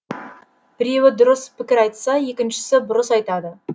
біреуі дұрыс пікір айтса екіншісі бұрыс айтады